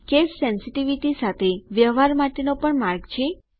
case sensitivity અક્ષરો પ્રત્યે સંવેદનશીલ સાથે વ્યવહાર માટેનો પણ માર્ગ છે